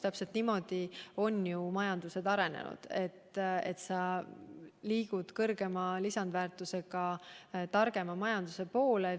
Täpselt niimoodi ongi ju majandus arenenud, et liigutakse suurema lisandväärtusega, targema majanduse poole.